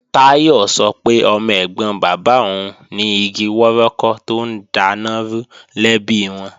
Táyọ̀ sọ pé ọmọ ẹ̀gbọ́n bàbá òun ni igi wọ́rọ́kọ́ tó ń daná rú lẹ́bi wọn